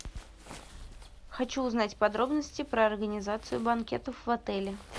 хочу узнать подробности про организацию банкетов в отеле